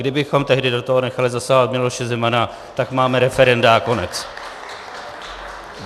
Kdybychom tehdy do toho nechali zasahovat Miloše Zemana, tak máme referenda a konec.